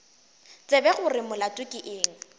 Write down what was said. tsebe gore molato ke eng